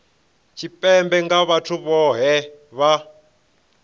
tshipembe nga vhathu vhohe vha